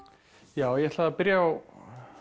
já ég ætlaði að byrja á